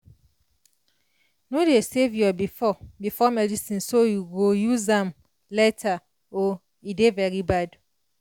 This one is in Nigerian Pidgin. no dey save your before before medicine so you go use am later o e dey very bad